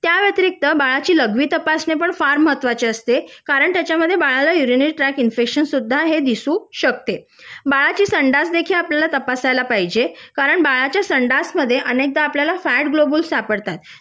त्या व्यतिरिक्त बाळाची लघवी तपासणी सुद्धा फार महत्त्वाचे असते कारण त्यामध्ये बाळाला युरीनल ट्रॅक इन्फेक्शन सुद्धा दिसू शकतं बाळाची संडास देखील आपल्याला तपासायला पाहिजे कारण बाळाच्या संडास मधे अनेकदा आपल्याला फॅट ग्लोबुल सापडतात